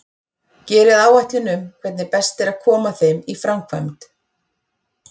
Gerið áætlun um hvernig best er að koma þeim í framkvæmd.